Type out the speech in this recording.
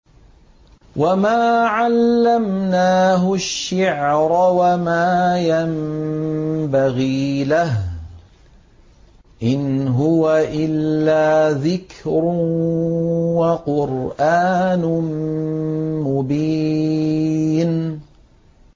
وَمَا عَلَّمْنَاهُ الشِّعْرَ وَمَا يَنبَغِي لَهُ ۚ إِنْ هُوَ إِلَّا ذِكْرٌ وَقُرْآنٌ مُّبِينٌ